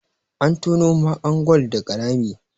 an tono mahaka gwal daga Rami